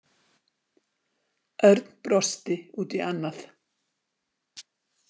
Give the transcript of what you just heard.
Örn brosti út í annað.